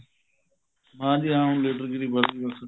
ਹਾਂ ਜੀ ਹਾਂ ਹੁਣ ਲੀਡਰਗਿਰੀ ਵੱਧਗੀ ਬੱਸ